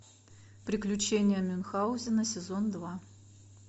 приключения мюнхаузена сезон два